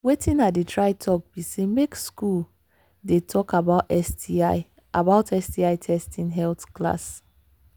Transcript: watin i they try talk be say make school they talk about sti about sti testing health class